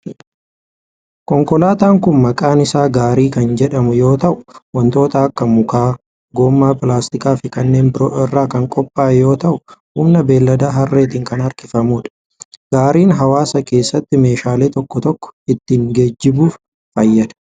Konkolaataan kun maqaan isaa gaarii kan jedhamu yoo ta'u, wantoota akka mukaa, gommaa pilaastikaa fi kanneen biroo irraa kan qophaa'e yoo ta'u humna beeylada harreetin kan harkifamuu dha. Gaariin hawaasa keessatti meeshaalee tokko toko ittin geejibuuf fayyada.